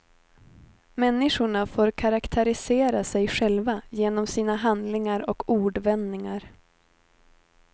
Människorna får karaktärisera sig själva genom sina handlingar och ordvändningar.